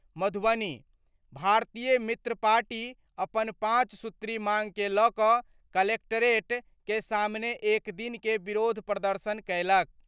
मधुबनी : भारतीय मित्र पार्टी अपन पांच सूत्री मांग के ल' क' कलेक्टरेट के सामने एक दिन के विरोध प्रदर्शन कयलक।